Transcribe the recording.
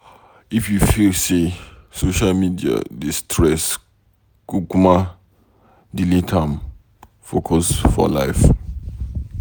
If you feel sey social media dey stress kukuma delete am focus for life.